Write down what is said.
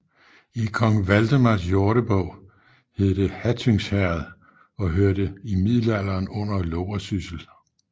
I Kong Valdemars Jordebog hed det Hattynghæreth og hørte i middelalderen under Loversyssel